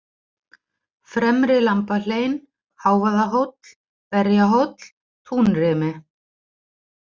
Fremri-Lambahlein, Hávaðahóll, Berjahóll, Túnrimi